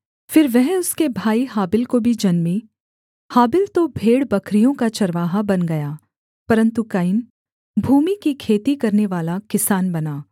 फिर वह उसके भाई हाबिल को भी जन्मी हाबिल तो भेड़बकरियों का चरवाहा बन गया परन्तु कैन भूमि की खेती करनेवाला किसान बना